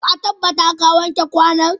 Ka tabbata ka wanke kwano.